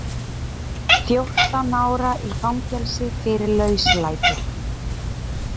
Fjórtán ára í fangelsi fyrir lauslæti